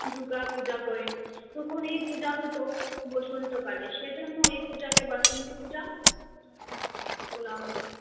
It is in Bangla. দুর্গার পূজা করেন তখন এই পূজা হতো বসন্ত কালে সেজন্য এই পূজাকে বাসন্তী পূজা বলা হত।